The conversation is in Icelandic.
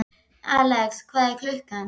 Alex, hvað er klukkan?